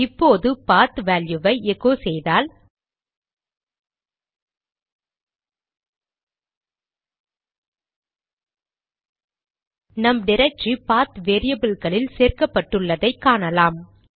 இப்போது பாத் வேல்யுவை எகோ செய்தால் நம் டிரக்டரி பாத் வேரியபில்களில் சேர்க்கப்பட்டுள்ளதை காணலாம்